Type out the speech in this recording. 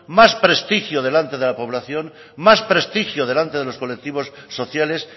más prestigio delante de la población más prestigio delante de los colectivos sociales